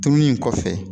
Tununi in kɔfɛ